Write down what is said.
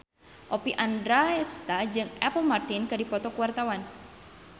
Oppie Andaresta jeung Apple Martin keur dipoto ku wartawan